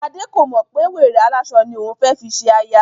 Gbadé kò mọ̀ pé wèrè aláṣọ ni òun fẹ́ fi ṣe aya